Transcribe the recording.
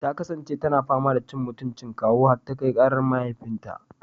Ta kasance tana fama da cin mutuncin kawu har ta kai karar mahaifinta.